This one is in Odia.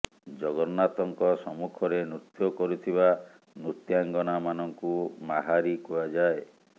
ଜଗନ୍ନାଥଙ୍କ ସମ୍ମୁଖରେ ନୃତ୍ୟ କରୁଥିବା ନୃତ୍ୟାଙ୍ଗନା ମାନଙ୍କୁ ମାହାରି କୁହାଯାଏ